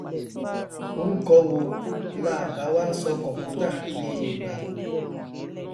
ọrúkọ wo láà bá wá sọ computer ní yorùbá